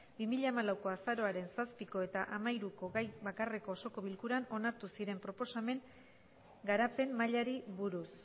bi mila hamalauko azaroaren zazpiko eta hamairuko gai bakarreko osoko bilkuran onartu ziren proposamen garapen mailari buruz